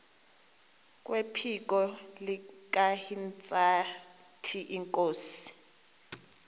kwephiko likahintsathi inkosi